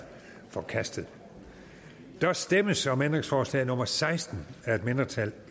forkastet der stemmes om ændringsforslag nummer seksten af et mindretal